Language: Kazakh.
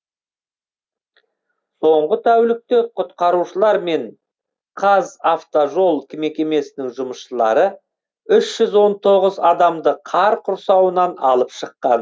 соңғы тәулікте құтқарушылар мен қазавтожол мекемесінің жұмысшылары үш жүз он тоғыз адамды қар құрсауынан алып шыққан